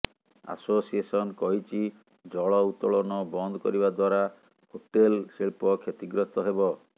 association କହିଛି ଜଳ ଉତ୍ତୋଳନ ବନ୍ଦ କରିବା ଦ୍ୱାରା ହୋଟେଲ ଶିଳ୍ପ କ୍ଷତି ଗ୍ରସ୍ତ ହେବ